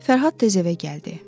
Fərhad tez evə gəldi.